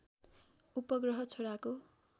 उपग्रह छोराको